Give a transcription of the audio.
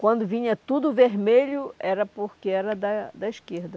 Quando vinha tudo vermelho era porque era da da esquerda.